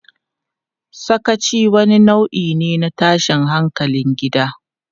Sakaci wani nau'i ne na tashin hankalin gida.